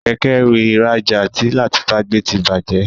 Kẹ̀kẹ́-ẹrù ìrajà tí Latifat gbé tí bàjé.